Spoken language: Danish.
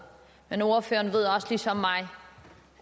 men ordføreren ved også ligesom mig